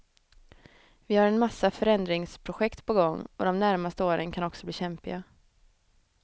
Vi har en massa förändringsprojekt på gång och de närmaste åren kan också bli kämpiga.